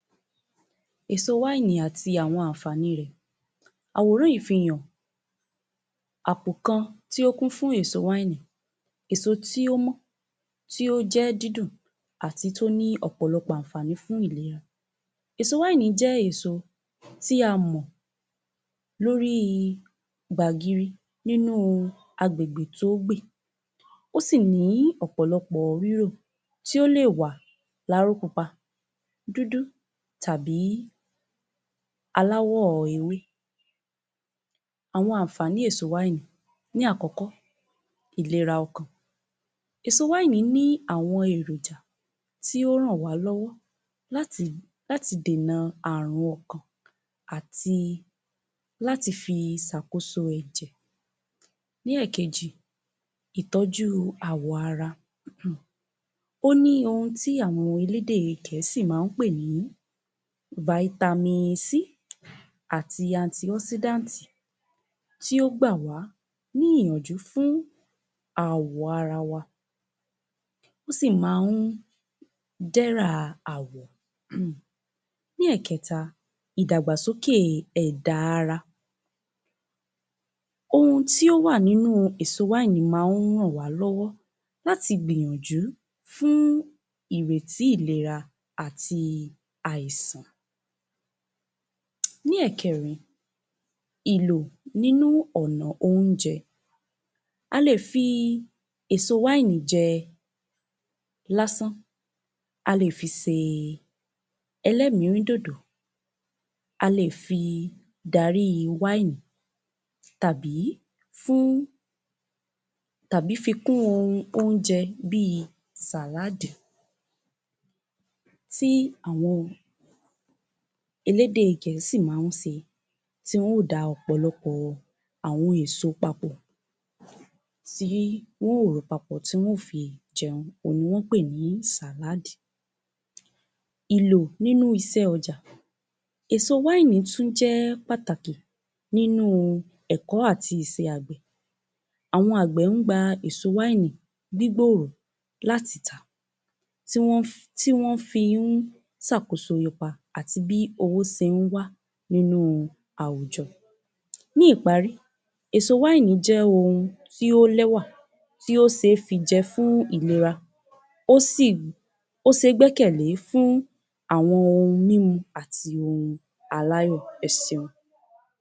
Èso àti àwọn àǹfàní rẹ̀, àwòrán yì í fi hàn, àpò kan tí ó kún fún èso, èso tí ó mọ́, tí ó jẹ́ dídùn àti tí ó ní ọ̀pọ̀lọpọ̀ àwọn àǹfàní fún ìlera, èso jẹ́ èso tí a mọ̀ lórí gbàgiri nínú agbègbè tó gbè, ó sì ní ọ̀pọ̀lọpọ̀ rírò tí ó lè wà láró pupa, dúdú tàbí aláwọ̀ ewé. Àwọn àǹfàní èso, ní àkọkọ́, ìlera ọkàn; èso ní àwọn èròjà tí ó ń ràn wá lọ́wọ́ láti dèna àrùn ọkàn àti láti fi ṣàkóso ẹ̀jẹ̀. Ní ẹ̀kejì, ìtọ́jú àwọ ara, ó ní oun tí àwọn elédè gẹ̀ẹ́sì máa ń pè ní (Vitamin C) àti (Anti-oxidant) tí ó gbà wá ní ìyànjú fún àwọ̀ ara wa, ó sì máa ń dẹ́rà àwọ̀. Ní Èkẹta, ìdàgbàsókè ẹ̀dà ara, oun tí ó wà nínú èṣo máa ń ràn wá lọ́wọ́ láti gbìyanjú fún ìrètí ìlera àti àìsàn. Ní ẹ̀kẹrin, ìlò nìnù ọ̀nà oúnjẹ, a lè fi èso jẹ lásán, a lè fi se ẹlẹ́mìírídòdò, a lè fi dari tàbí fún, tàbí fikún oúnjẹ bí i (Salad) tí àwọn elédè gẹ̀ẹ́sì máa ń ṣe tí wọn ó da ọ̀pọ̀lọpọ̀ àwọn èso papọ̀, tí wọn ó rò ó papọ̀ tí wọn ó fi jẹun, òun ni wọ́n pè ní (Salad). Ìlò nínú iṣẹ́ ọjà, èso tún jẹ́ pàtàkí nínú ẹ̀kọ́ àti ìṣe àgbẹ̀, àwọn àgbẹ̀ ń gba èso gbígbòrò láti tà, tí wọ́n fi ń tàkosoro pa àti bí owó ṣe ń wá nínú àwùjọ. Ní ìparí, èso jẹ́ ohun tí ó lẹ́wà, tí ó ṣé fi jẹ fún ìlera, ó sì, ó ṣé gbẹ́kẹ̀lé fún àwọn onímu àti aláyọ. Ẹ ṣeun.